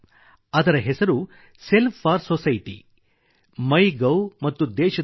ಅದರ ಹೆಸರು self for society MyGov ಮತ್ತು ದೇಶದ ಐ